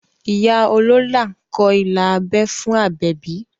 Ìyá olóólà kọ ilà abẹ́ fún Àbẹ̀bí